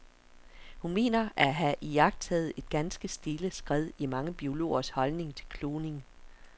Hun mener at have iagttaget et ganske stille skred i mange biologers holdning til kloning.